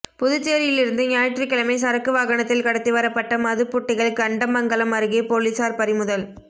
புதுச்சேரியிலிருந்து ஞாயிற்றுக்கிழமை சரக்கு வாகனத்தில் கடத்தி வரப்பட்ட மதுப் புட்டிகள் கண்டமங்கலம் அருகே போலீஸாா் பறிமுதல்